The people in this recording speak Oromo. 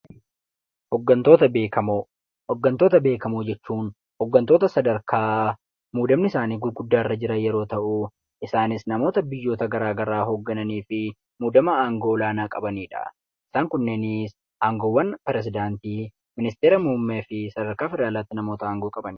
Hoggantoota beekamoo: hoggantoota beekamoo jechuun hoggantoota sadarkaa muudamni isaanii gurguddaa irra jiru yoo ta'u, isaanis namoota biyyoota garaa garaa hoggananii fi muudama aangoo olaanaa qabanidha. Isaan kunneenis aangoowwan piresidaantii, ministeera muummee fi sadarkaa federaalaatti namoota aangoo qabanidha.